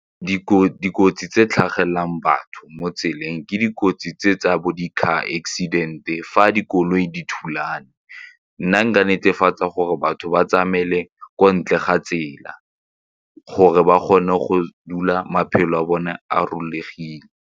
Dikotsi tse tlhagelelang batho mo tseleng ke dikotsi tse tsa bo di-car accident-e fa dikoloi di thulana. Nna nka netefatsa gore batho ba tsamaele ko ntle ga tsela gore ba kgone go dula maphelo a bone a .